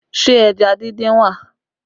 Ṣé ẹja díndín wà?